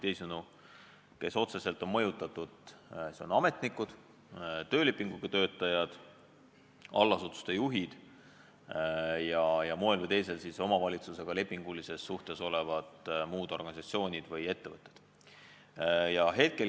Teisisõnu, need, kes otseselt on mõjutatud, on ametnikud, töölepinguga töötajad, allasutuste juhid ja moel või teisel omavalitsusega lepingulises suhtes olevate muude organisatsioonide või ettevõtete töötajad.